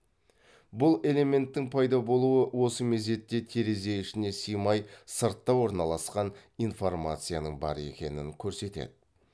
бұл элементтің пайда болуы осы мезетте терезе ішіне симай сыртта орналасқан информацияның бар екенін көрсетеді